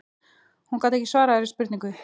Hún gat ekki svarað þeirri spurningu.